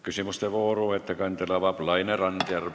Küsimuste vooru avab Laine Randjärv.